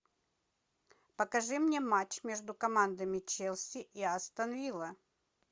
покажи мне матч между командами челси и астон вилла